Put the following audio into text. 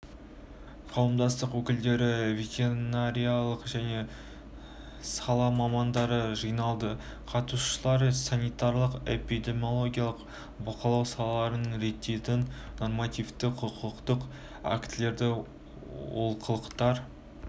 қауымдастық өкілдері ветеринарлық сала мамандары жиналды қатысушылар санитарлық-эпидемиологиялық бақылау салаларын реттейтін нормативтік құқықтық актілерде олқылықтар